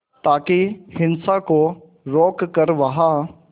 ताकि हिंसा को रोक कर वहां